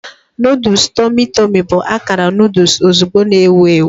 Noodles tummy tummy bụ akara noodle ozugbo na-ewu ewu.